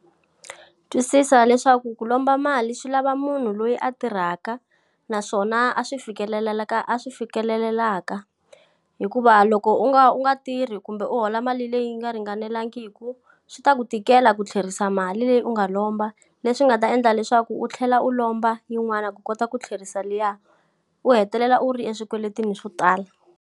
Twisisa leswaku ku lomba mali swi lava munhu loyi a tirhaka, naswona a swi fikeleleka a swi fikelelelaka. Hikuva loko u nga u nga tirhi kumbe u hola mali leyi yi nga ringanelangiku, swi ta ku tikela ku tlherisa mali leyi u nga lomba. Leswi nga ta endla leswaku u tlhela u lomba yin'wana ku kota ku tlherisa liya, u hetelela u ri swikweletini swo tala.